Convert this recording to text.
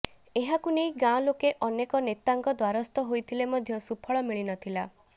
ଏହାକୁ ନେଇ ଗାଁଲୋକେ ଅନେକ ନେତାଙ୍କ ଦ୍ୱାରସ୍ଥ ହୋଇଥିଲେ ମଧ୍ୟ ସୁଫଳ ମିଳି ନଥିଲା